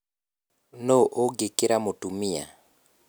nũũ ũngĩkĩra mũtumia?